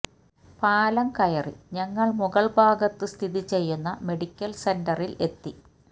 പാലം കയറി ഞങ്ങള് മുകള്ഭാഗത്ത് സ്ഥിതി ചെയ്യുന്ന മെഡിക്കല് സെന്ററില് എത്തി